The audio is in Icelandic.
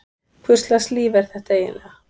Hvurslags líf er þetta eiginlega?